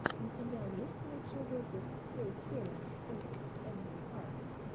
у тебя есть лучший выпуск хэйхелен эйэсэмар